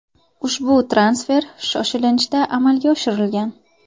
Ushbu transfer shoshilinchda amalga oshirilgan.